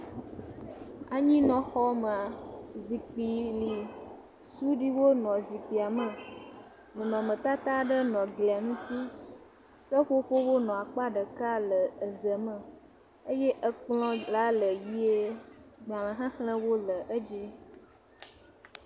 Anyinɔxɔmea, zikpi li. Suɖiwo nɔ zikpia me. Nɔnɔmetata aɖe nɔ glia ŋuti. Seƒoƒowo nɔ akpa ɖeka le eze me. Eye ekplɔ̃la le yie gbalẽxexlẽwo le edzi.